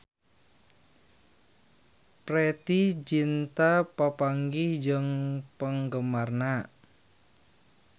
Preity Zinta papanggih jeung penggemarna